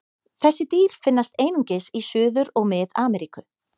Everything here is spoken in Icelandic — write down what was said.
Þessi dýr finnast einungis í Suður- og Mið-Ameríku.